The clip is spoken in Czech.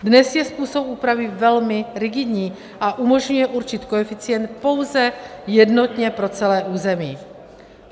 Dnes je způsob úpravy velmi rigidní a umožňuje určit koeficient pouze jednotně pro celé území.